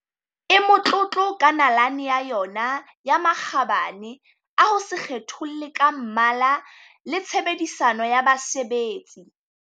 e motlotlo ka nalane ya yona ya makgabane a ho se kgetholle ka mmala le tshe bedisano ya basebetsi.